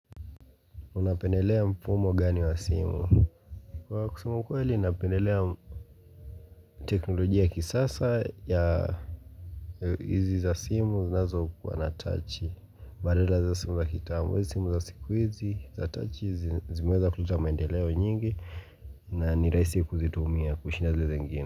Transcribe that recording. Unapendelea mfumo gani wa simu? Kwa kusema ukweli napendelea teknolojia kisasa ya Izi za simu zinazo kuwa na touch badala za simu za kitambo, simu za sikuizi, za touch zimeweza kuleta maendeleo nyingi na ni rahisi kuzitumia kushinda zile zingine.